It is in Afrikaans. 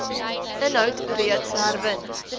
inhoud reeds herwin